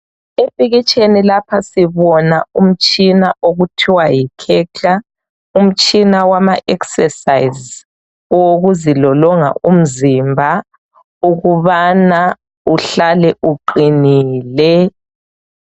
Epikitsheni lapha sibona umtshina okuthiwa yi Khetla. Umtshina wama eksesayiz owokuzilolonga umzimba ukubana uhlale uqinile.